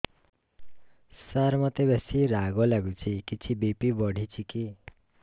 ସାର ମୋତେ ବେସି ରାଗ ଲାଗୁଚି କିଛି ବି.ପି ବଢ଼ିଚି କି